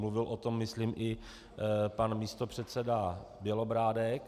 Mluvil o tom myslím i pan místopředseda Bělobrádek.